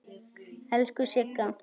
Elsku Sigga.